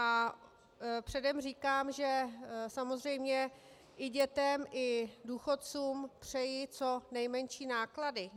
A předem říkám, že samozřejmě i dětem i důchodcům přeji co nejmenší náklady.